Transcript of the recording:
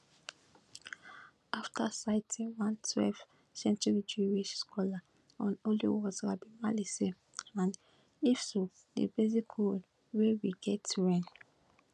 after citing one twelveth century jewish scholar on holy wars rabbi mali and if so di basic rule wey we get wen